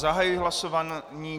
Zahajuji hlasování.